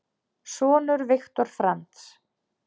Sonur Viktor Franz.